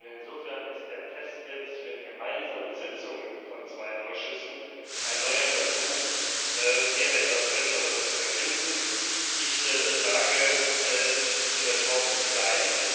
Insofern ist der Test mit gemeinsamen Sitzungen von zwei Ausschüssen ein neuer Versuch, hier etwas Besseres zu erfinden. Diese Reform muss sein!